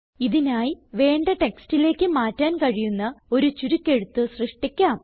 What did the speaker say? ഇതിനായി വേണ്ട ടെക്സ്റ്റിലേക്ക് മാറ്റാൻ കഴിയുന്ന ഒരു ചുരുക്കെഴുത്ത് സൃഷ്ടിക്കാം